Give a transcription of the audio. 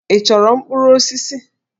Ị chọrọ mkpụrụ osisi?